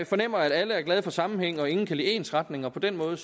fornemmer at alle er glade for sammenhæng og at ingen kan lide ensretning og på den måde